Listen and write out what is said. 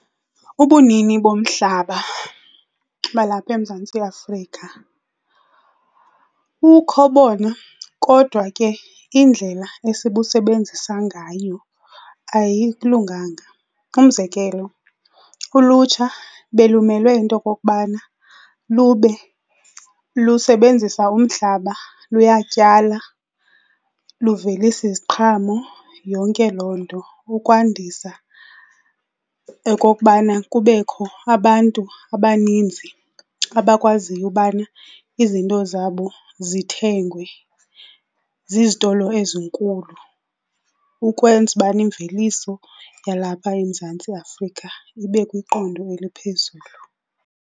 Ubunini bomhlaba balapha eMzantsi Afrika bukho bona kodwa ke indlela esibusebenzisa ngayo ayilunganga. Umzekelo, ulutsha belumelwe yinto yokokubana lube lusebenzisa umhlaba luyatyala, luvelisa iziqhamo, yonke loo nto, ukwandisa okokubana kubekho abantu abaninzi abakwaziyo ubana izinto zabo zithengwe zizitolo ezinkulu ukwenza ubana imveliso yalapha eMzantsi Afrika ibe kwiqondo eliphezulu.